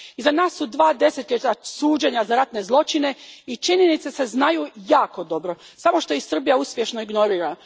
Iza nas su dva desetljeća suđenja za ratne zločine i činjenice se znaju jako dobro, samo što ih Srbija uspješno ignorira.